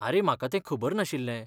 आरे, म्हाका तें खबर नाशिल्लें.